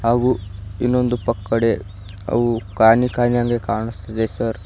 ಹಾಗೂ ಇನ್ನೊಂದು ಪಕ್ಕಡೆ ಅವು ಕಾಣಿ ಕಾಣಿ ಹಂಗೆ ಕಾಣಿಸ್ತಿದೆ ಸರ್ .